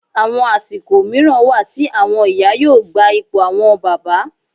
Àwọn àsìkò mìíràn wà tí àwọn ìyá yóò gba ipò àwọn bàbá